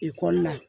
Ekɔli la